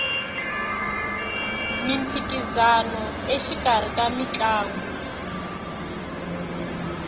miphikisano exikarhi ka mitlangu